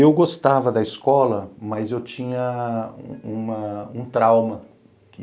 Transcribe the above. Eu gostava da escola, mas eu tinha uma um trauma.